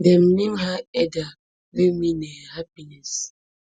dem name her edha wey mean um happiness